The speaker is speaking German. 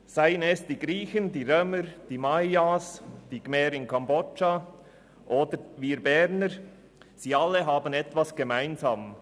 Seien es die Griechen, die Römer, die Mayas, die Khmer in Kambodscha oder wir Berner: Alle haben etwas gemeinsam;